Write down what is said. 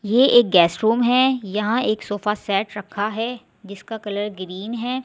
ये एक guest room है यहां एक सोफा सेट रखा है जिसका कलर ग्रीन है।